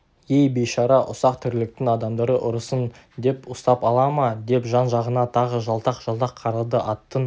ей бейшара ұсақ тірліктің адамдары ұрысың деп ұстап ала ма деп жан-жағына тағы жалтақ-жалтақ қарады аттың